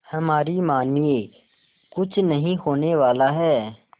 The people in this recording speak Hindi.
हमारी मानिए कुछ नहीं होने वाला है